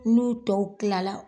N'u tɔw kilala